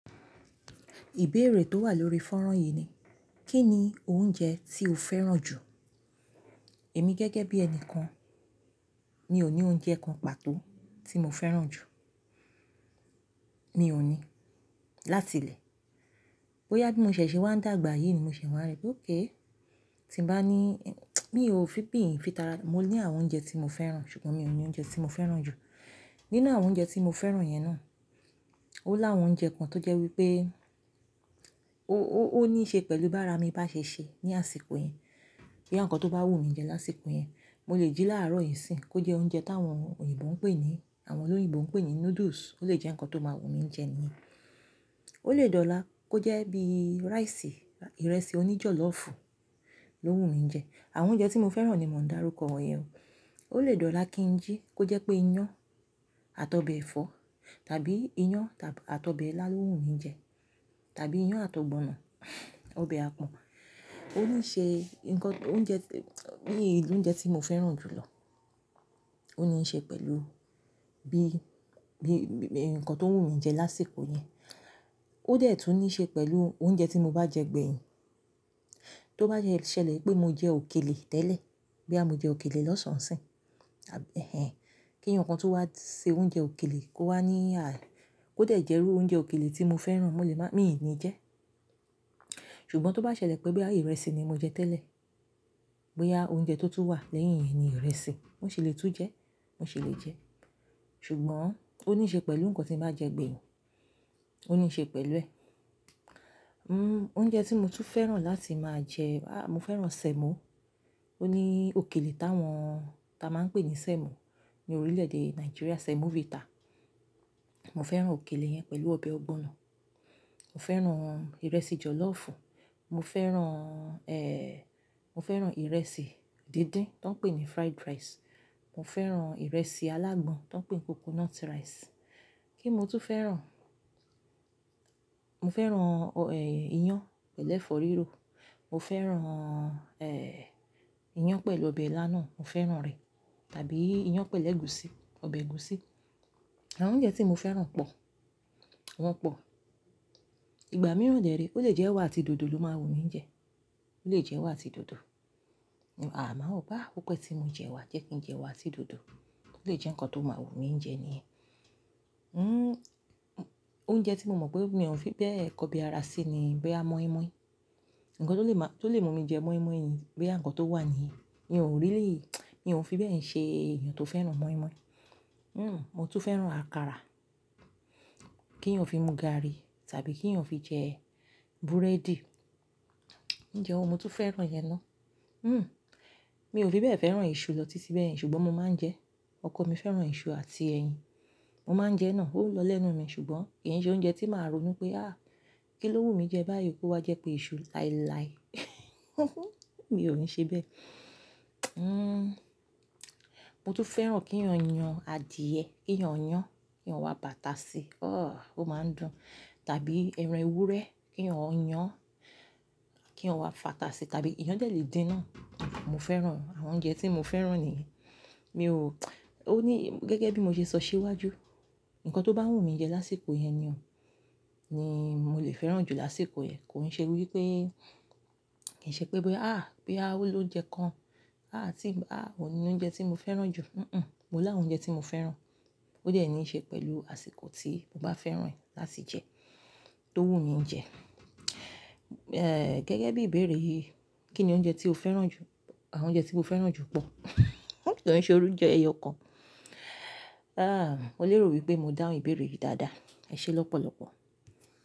Ìbéèrè tó wà lórí fọ́nrán yìí ni, kí ni oúnjẹ tí o fẹ́ràn jù? Èmi gẹ́gẹ́ bí ẹni kan, mi ò ní oúnjẹ kan pàtó tí mo fẹ́ràn jù. Mi ò ní. Láti ilẹ̀, bóyá bí mo ṣẹ̀ ṣe wá ń dàgbà yìí ni mo ṣẹ̀ wá rẹ pé ókay, tí n bá ní mi ò fi ìpín fi tara, mo ní àwọn oúnjẹ tí mo fẹ́ràn ṣùgbọ́n mi ò ní oúnjẹ tí mo fẹ́ràn jù. Nínú àwọn oúnjẹ tí mo fẹ́ràn yẹn ná, ó láwọn oúnjẹ kan tó jẹ́ wípé ó, ó, ó níí ṣe pẹ̀lú bá ara mi bá ṣèṣe ní àsìkò yẹn. Bí àwọn nǹkan tó bá wù mí jẹ lásìkò yẹn, mo lè jí láàárọ̀ ìsín kó jẹ oúnjẹ táwọn òyìnbó ń pè ní, àwọn olóyìnbó ń pè ní noodles, ó lè jẹ́ nǹkan tó máa wù mí jẹ ni. Ó lè dọ̀la kó jẹ́ bí rice, ìrẹsì oní jọ̀lọ́fù ló wù mí jẹ. Àwọn oúnjẹ tí mo fẹ́ràn ni mò ń dárúkọ yẹn o. Ó lè dọ̀la kí n jí kó jẹ́ pé iyán àti ọbẹ̀ ẹ̀fọ́ tàbí iyán tàbí àti ọbẹ̀ ilá ló wù mí jẹ tàbí iyán àti ọbẹ̀ ọ̀gbọ̀nọ̀, ọbẹ̀ àpọ̀n. Ó níí ṣe ǹnkan, oúnjẹ mi ni oúnjẹ tí mo fẹ́ràn jù lọ. Ó níí ṣe pẹ̀lú bí, bí, bí, nnkan tó wù mí jẹ lásìkò yẹn. Ó dẹ̀ tún níí ṣe pẹ̀lú oúnjẹ tí mo bá jẹ gbẹ̀yìn. Tó bá jẹ́ ṣẹlẹ̀ pé mo jẹ òkèlè tẹ́lẹ̀, boya mo jẹ òkèlè lọ́sàn-án sì, tàbí kí eeyan kan tun wá ṣe oúnjẹ òkèlè kó wá níyà, kó dẹ̀ jẹ́rú oúnjẹ òkèlè tí mo fẹ́ràn, mo lè má, mi ò ní jẹ. Ṣùgbọ́n tó bá ṣẹlẹ̀ pé bí àmo ìrẹsì ni mo jẹ tẹ́lẹ̀, bóyá oúnjẹ tó tún wà lẹ́yìn yẹn ni ìrẹsì, mò ṣì lè tún jẹ, mò ṣì lè jẹ. Ṣùgbọ́n ó níí ṣe pẹ̀lú nnkan tí mo bá jẹ gbẹ̀yìn. Ó níí ṣe pẹ̀lú ẹ̀. Mmm oúnjẹ tí mo tún fẹ́ràn láti máa jẹ, aah, mo fẹ́ràn semo. Ó ní òkèlè táwọn, ta máa ń pè ní semo ní orílẹ̀-èdè Nàìjíríà, semovita. Mo fẹ́ràn òkèlè yẹn pẹ̀lú ọbẹ̀ ọ̀gbọ̀nọ̀. Mo fẹ́ràn ìrẹsì jọ̀lọ́fù. Mo fẹ́ràn, eh, mo fẹ́ràn ìrẹsì dídín tó ń pè ní fried rice. Mo fẹ́ràn ìrẹsì alágbọn tó ń pè ní coconut rice. Kin mo tún fẹ́ràn? Mo fẹ́ràn, ọ, eh, iyán pẹ̀lú ẹ̀fọ́ rírò. Mo fẹ́ràn, eh, iyán pẹ̀lú ọbẹ̀ ilá náà, mo fẹ́ràn rẹ̀ tàbí iyán pẹ̀lú ègúsí, ọbẹ̀ ègúsí. Àwọn oúnjẹ tí mo fẹ́ràn pọ̀, wọ́n pọ̀. Ìgbà mìíràn de re ó lè jẹ́ ẹwà àti dòdò ló máa wù mí jẹ. Ó lè jẹ́ ẹwà àti dòdò. Àmáa ò bá, ó pẹ́ tí mo jẹ ẹwà, jẹ́ kí n jẹ ẹwà atí dòdò. Ó lè jẹ́ nnkan tó máa wù mí jẹ ni. Mmm oúnjẹ tí mo mọ̀ pé mi ò fi bẹ́ẹ̀ kọbi ara sí ni boya mọ́í-mọ́í. Nnkan tó lè má, tó lè mú mi jẹ mọ́í-mọ́í ni bí àwọn nnkan tó wà ní, mi ò really, mi ò fi bẹ́ẹ̀ ṣe èèyàn tó fẹ́ràn mọ́í-mọ́í. Mmm mo tún fẹ́ràn àkàrà, kí eeyàn fi mu gààrí tàbí kí eeyàn fi jẹ búrẹ́dì. Òunje wo ni mo tún fẹ́ràn yẹn ná. Mmm mi ò fi bẹ́ẹ̀ fẹ́ràn iṣu lọ títí bẹ́ẹ̀ yẹn ṣùgbọ́n mo máa ń jẹ ẹ́. Ọkọ mi fẹ́ràn iṣu àti ẹyin. Mo máa ń jẹ náà, ó ń lọ lẹ́nu mi ṣùgbọ́n kì í ṣe oúnjẹ tí màá ronú pé "áà kí ló wù mí jẹ báyìí kó wá jẹ́ pé iṣu láíláí" mi ò ní ṣe bẹ́ẹ̀. Mmm mo tún fẹ́ràn kí eeyàn yan adìẹ, kí eeyàn yan, kí i yàn wa bu àtà ṣì, oh ó máa ń dùn tàbí ẹran ewúrẹ́ kí eeyàn yan, kí eeyàn wa fàtàṣì tàbí eeyán dẹ̀ lè din náà, mo fẹ́ràn. Àwọn oúnjẹ tí mo fẹ́ràn nìyẹn. Mi ò ó ní gẹ́gẹ́ bí mo ṣe sọ síwájú, nnkan tó bá wù mí jẹ lásìkò yẹn nìyẹn ni mo lè fẹ́ràn jù lásìkò yẹn. Kò ń ṣe wípé, kì í ṣe pé bẹ́, à boya o ló ounjẹ kan, à tí ń bá, à ò ní oúnjẹ tí mo fẹ́ràn jù. Hn-hn. Mo láwọn oúnjẹ tí mo fẹ́ràn. Ó dẹ̀ níí ṣe pẹ̀lú àsìkò tí mo bá fẹ́ràn ẹ̀ láti jẹ tó wù mí jẹ. Eh gẹ́gẹ́ bí ìbéèrè yìí, kí ni oúnjẹ tí o fẹ́ràn jù? Àwọn oúnjẹ tí mo fẹ́ràn jù pọ̀. Ko tiè ṣe ounjẹ ẹyọ kan. Ah mo lérò wípé mo dáhùn ìbéèrè yìí dáadáa. Ẹ ṣé lọ́pọ̀lọ́pọ̀.